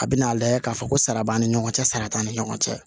A bɛna a lajɛ k'a fɔ ko sara b'an ni ɲɔgɔn cɛ sara t'an ni ɲɔgɔn cɛ